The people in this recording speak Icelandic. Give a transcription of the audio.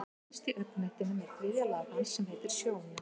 Innst í augnknettinum er þriðja lag hans sem heitir sjóna.